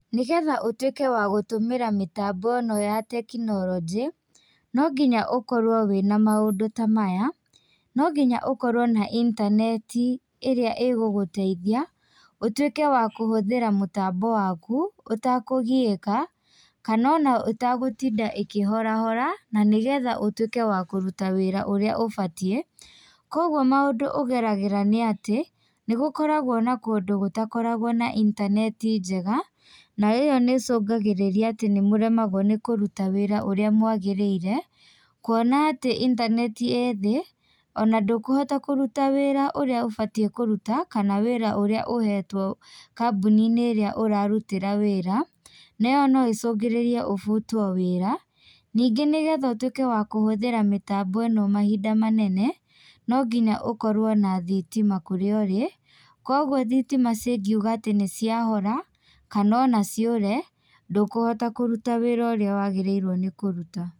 Nĩgetha ũtĩke wa gũtũmĩra mĩtambo ĩ no ya tekinorinjĩ, no ngĩnya ũkorwo wĩ na maũndũ ta maya, no nginya ũkorwo na ĩntaneti ĩrĩa ĩgũgũteithia ũtuĩke wa kũhũthĩra mũtambo waku ũtakũgiĩka kana o na ũtagũtinda ĩkĩhorahora na nĩgetha ũtuĩke wa kũruta wĩra ũrĩa ũbatiĩ, kogwo maũndũ ũgeragĩra nĩ atĩ nĩgũkoragwo na kũndũ gũtakoragwo na ĩntaneti njega na ĩ yo nĩchũngagĩrĩria atĩ nĩmũremagwo nĩ kũruta wĩra ũrĩa mwagĩrĩire kuona atĩ intaneti ĩ thĩ o na ndũkũhota kũruta wĩra ũrĩa ũbatiĩ kũruta kana wĩra ũrĩa ũhetwo kambũ-inĩ ĩrĩa ũrarutĩra wĩra na ĩ yo no ĩcũngĩrĩrie ũbutwo wĩra, ningĩ nĩgetha ũtuĩke wa kũhũthĩra mĩtambo ĩ no mahĩnda manene no nginya ũkorwo na thitima kũrĩa ũrĩ kogwo thitima cingiuga atĩ nĩ cia hora kana o na ciũre ndũkũhota kũruta wĩra ũrĩa wagĩrĩirwo nĩ kũruta.